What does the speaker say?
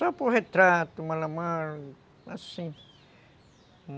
Só por retrato, malamar, assim.